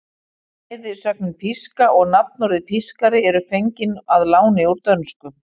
Bæði sögnin píska og nafnorðið pískari eru fengin að láni úr dönsku.